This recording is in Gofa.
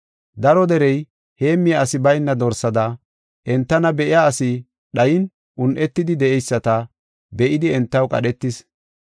Daro derey, heemmiya asi bayna dorsada entana be7iya asi dhayin un7etidi de7eyisata be7idi entaw qadhetis.